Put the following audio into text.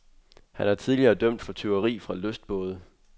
Han er tidligere dømt for tyveri fra lystbåde.